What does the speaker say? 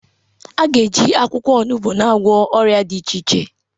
A ga-eji akwụkwọ onogbu na-agwọ ọrịa dị iche iche.